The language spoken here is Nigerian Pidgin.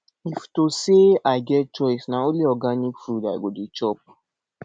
if to sey i get choice na only organic food i go dey chop